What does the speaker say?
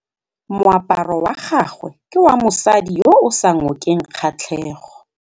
Moaparô wa gagwe ke wa mosadi yo o sa ngôkeng kgatlhegô.